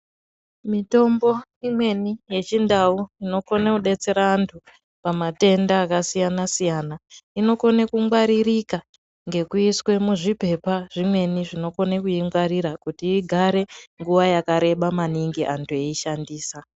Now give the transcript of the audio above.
Mitombo imweni yechindau inokone kubetsera antu matenda akasiyana-siyana. Inokone kungwaririka ngekuiswe muzvipepa zvimweni zvinokona kuingwarira kuti igare nguva yakareba maningi antu eishandisa.